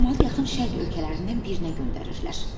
Camaatı yaxın Şərq ölkələrindən birinə göndərirlər.